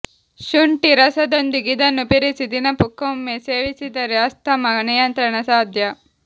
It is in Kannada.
ಶುಂಠಿ ರಸದೊಂದಿಗೆ ಇದನ್ನು ಬೆರೆಸಿ ದಿನಕ್ಕೊಮ್ಮೆ ಸೇವಿಸಿದರೆ ಅಸ್ತಮಾ ನಿಯಂತ್ರಣ ಸಾಧ್ಯ